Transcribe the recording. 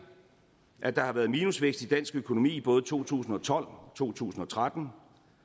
at der har været minusvækst i dansk økonomi i både to tusind og tolv og to tusind og tretten og